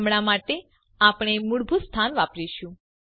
હમણાં માટે આપણે મૂળભૂત સ્થાન વાપરીશું